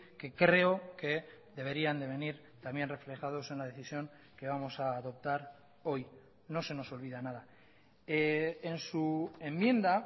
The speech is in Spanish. que creo que deberían de venir también reflejados en la decisión que vamos a adoptar hoy no se nos olvida nada en su enmienda